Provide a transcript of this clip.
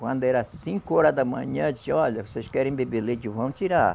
Quando era cinco horas da manhã, ele disse, olha, vocês querem beber leite, vão tirar.